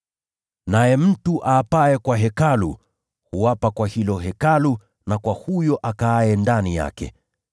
Naye mtu aapaye kwa Hekalu, huapa kwa hilo Hekalu na kwa huyo akaaye ndani yake.